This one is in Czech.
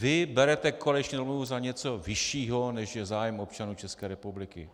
Vy berete koaliční dohodu za něco vyššího, než je zájem občanů České republiky.